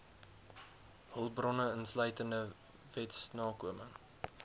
hulpbronne insluitende wetsnakoming